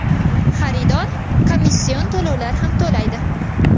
Xaridor komission to‘lovlar ham to‘laydi.